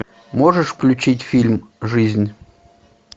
можешь включить фильм жизнь